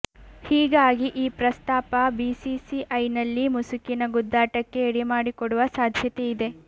ಹೀಗಾಗಿ ಈ ಪ್ರಸ್ತಾಪ ಬಿಸಿಸಿಐನಲ್ಲಿ ಮುಸುಕಿನ ಗುದ್ದಾಟಕ್ಕೆ ಎಡೆಮಾಡಿಕೊಡುವ ಸಾಧ್ಯತೆ ಇದೆ